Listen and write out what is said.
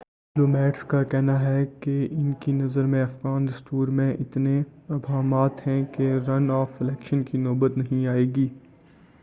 diplomats کا کہنا ہے ان کی نظر میں افغان دستور میں اتنے ابہامات ہیں کہ رن آف الیکشن کی نوبت نہیں آئے گی